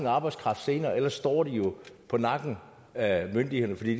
arbejdskraft senere ellers står de jo på nakken af myndighederne fordi